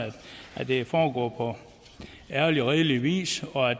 at det foregår på ærlig og redelig vis og at